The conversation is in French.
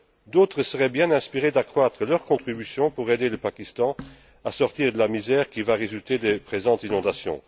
D'autres seraient bien inspirés d'accroître leur contribution pour aider le Pakistan à sortir de la misère qui va résulter des présentes inondations.